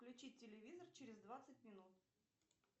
включи телевизор через двадцать минут